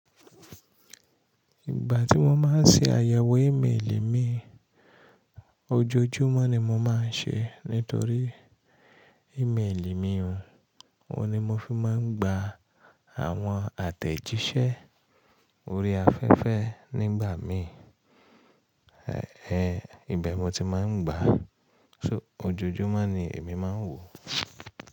Ìgbà tí mo máa ń ṣe àyẹ̀wò íméèlì mi, ojoojúmọ́ ni mo máa ń ṣe nítorí íméèlì mi òun, òun ni mo fi máa ń gba àwọn àtẹ̀jíṣẹ́ orí afẹ́fẹ́ nígbà mí, ẹẹ, ibẹ̀ mo ti máa ń gba. So ojoojúmọ́ ni èmi máa ń wò.